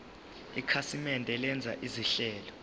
ikhasimende lenza izinhlelo